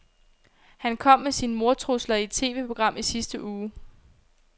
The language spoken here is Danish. Han kom med sine mordtrusler i et TVprogram i sidste uge.